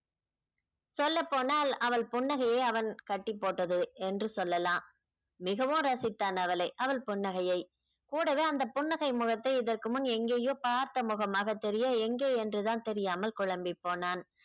சொல்லப்போனால் அவள் புன்னகையை அவன் கட்டி போட்டது என்று சொல்லலாம் மிகவும் ரசித்தான் அவளை அவள் புன்னகையை கூடவே அந்த புன்னகை முகத்தை இதற்கு முன் எங்கேயோ பார்த்த முகமாக தெரிய எங்கே என்றுதான் தெரியாமல் குழம்பிப் போனான்